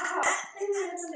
Guðrún Ósk.